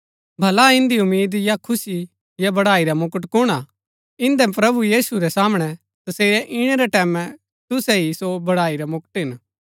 भला इन्दी उम्मीद या खुशी या बड़ाई रा मुकुट कुण हा इन्दै प्रभु यीशु रै सामणै तसेरै ईणै रै टैमैं तुसै ही सो बड़ाई रा मुकुट हिन